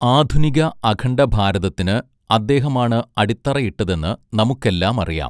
ആധുനിക അഖണ്ഡഭാരതത്തിന് അദ്ദേഹമാണ് അടിത്തറയിട്ടതെന്ന് നമുക്കെല്ലാമറിയാം.